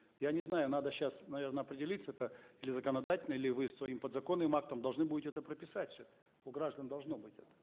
я не знаю надо сейчас наверно определиться это или законодательно или вы своим подзаконным актом должны будете это прописать все у граждан должно быть это